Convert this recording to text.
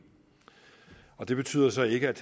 det betyder så ikke at